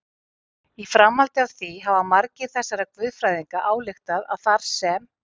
Í framhaldi af því hafa margir þessara guðfræðinga ályktað að þar sem